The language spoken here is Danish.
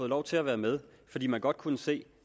lov til at være med fordi man godt kunne se